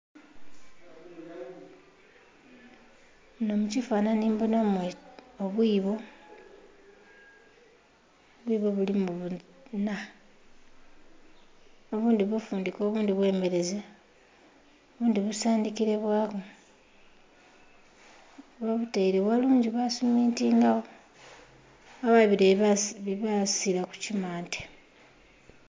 Munho mu kifananhi mbonhamu obwibo, obwibo bulimu bili buna obundhi bufundhike obundhi bwe mereze, obundhi busandhikile bwaku, ghebabutaire ghalungi basumintingagho ghabagho bire bye basiira ku kimante.